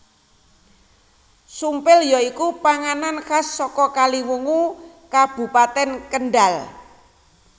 Sumpil ya iku panganan khas saka Kaliwungu Kabupatèn Kendhal